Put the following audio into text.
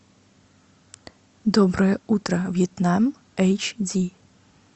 доброе утро вьетнам эйч ди